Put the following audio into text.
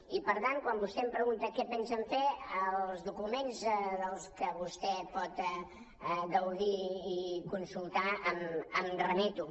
i per tant quan vostè em pregunta què pensen fer als documents de què vostè pot gaudir i consultar em remeto